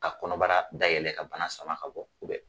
Ka kɔnɔbara daɛlɛ ka bana sama ka bɔ